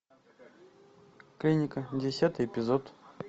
клиника десятый эпизод